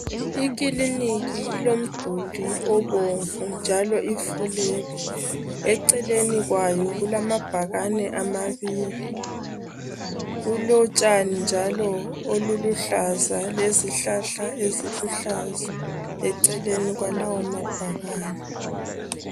Ikiniki iloduli obomvu njalo ifulele. Eceleni kwayo kulamabhakani amabili. Kulotshani njalo oluluhlaza lezihlahla eziluhlaza eceleni kwalawo mabhakani.